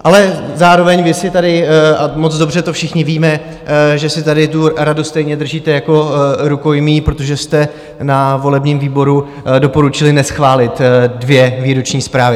Ale zároveň vy si tady, a moc dobře to všichni víme, že si tady tu radu stejně držíte jako rukojmí, protože jste na volebním výboru doporučili neschválit dvě výroční zprávy.